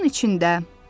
Quyunun içində.